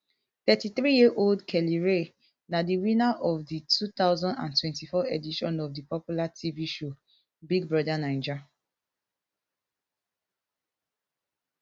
thirty-threeyearold kellyrae na di winner of di two thousand and twenty-four edition of di popular tv show big brother naija